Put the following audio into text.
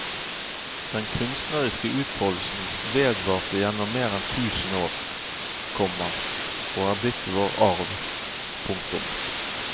Den kunstneriske utfoldelsen vedvarte gjennom mer enn tusen år, komma og er blitt vår arv. punktum